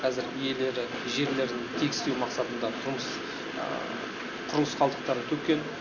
қазір иелері жерлерін тегістеу мақсатында тұрмыс құрылыс қалдықтарын төккен